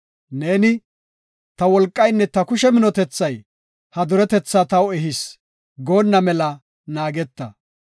Neeni, “Ta wolqaynne ta kushe minotethay ha duretetha taw ehis” goonna mela naageta.